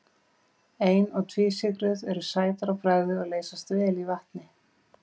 Ein- og tvísykrur eru sætar á bragðið og leysast vel í vatni.